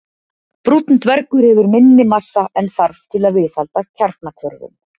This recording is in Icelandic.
Brúnn dvergur hefur minni massa en þarf til að viðhalda kjarnahvörfum.